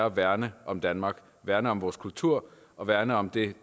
at værne om danmark værne om vores kultur og værne om det